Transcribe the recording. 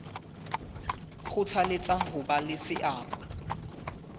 kgothaletsa ho ba le seabo